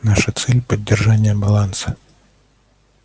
наша цель поддержание баланса